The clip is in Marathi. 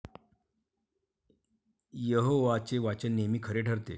यहोवाचे वचन नेहमी खरे ठरते.